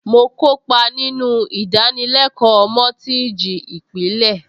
Mo kópa nínú ìdánilẹ́kọ̀ọ́ mọ́tíìjì ìpìlẹ̀